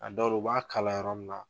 A dɔw la u b'a kalan yɔrɔ min na.